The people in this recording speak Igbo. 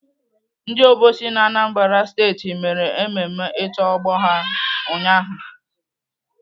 Ndị obosi na Anambra Steeti mere mmemme ito ọgbọ ha ụnyaahụ